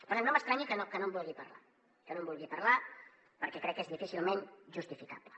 per tant no m’estranya que no en vulgui parlar que no en vulgui parlar perquè crec que és difícilment justificable